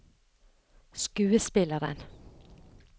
skuespilleren